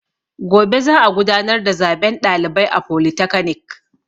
Gobe za a gudanar da zaben ɗalibai a folitakanik